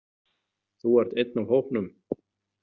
Þú ert einn af hópnum.